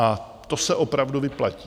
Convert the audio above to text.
A to se opravdu vyplatí.